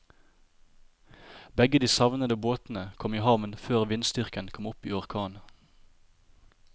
Begge de savnede båtene kom i havn før vindstyrken kom opp i orkan.